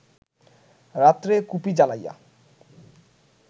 রাত্রে কুপি জ্বালাইয়া